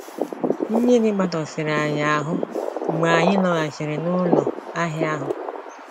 Mmiri matọsịrị anyị ahụ́ mgbe anyị lọghachiri n’ụlọ ahịa ahụ.